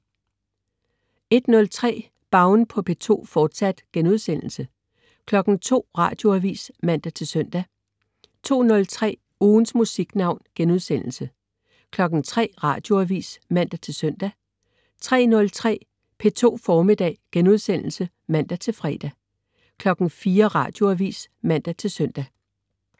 01.03 Baun på P2, fortsat* 02.00 Radioavis (man-søn) 02.03 Ugens Musiknavn* 03.00 Radioavis (man-søn) 03.03 P2 Formiddag* (man-fre) 04.00 Radioavis (man-søn)